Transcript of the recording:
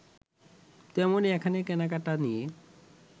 তেমনি এখানে কেনাকেটা নিয়ে